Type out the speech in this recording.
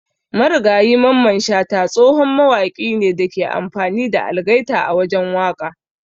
Marigayi Mamman shata tsohon mawaki ne Dake amfani da algaita a wajen waka.